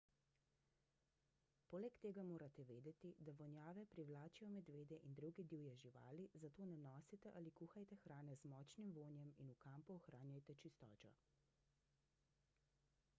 poleg tega morate vedeti da vonjave privlačijo medvede in druge divje živali zato ne nosite ali kuhajte hrane z močnim vonjem in v kampu ohranjajte čistočo